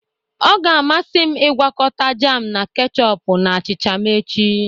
Ọ ga-amasị m ịgwakọta jam na ketchupu na achịcha m echi